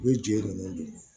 U bɛ jeli ninnu